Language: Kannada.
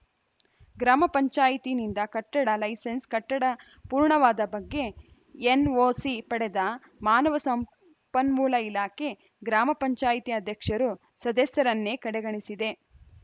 ಗ್ರಾಮ ಪಂಚಾಯಿತಿನಿಂದ ಕಟ್ಟಡ ಲೈಸೆನ್ಸ್ ಕಟ್ಟಡ ಪೂರ್ಣವಾದ ಬಗ್ಗೆ ಏನ್ ಒಸಿ ಪಡೆದ ಮಾನವ ಸಂಪನ್ಮೂಲ ಇಲಾಖೆ ಗ್ರಾಮ ಪಂಚಾಯಿತಿಯ ಅಧ್ಯಕ್ಷರು ಸದಸ್ಯರನ್ನೇ ಕಡೆಗಣಿಸಿದೆ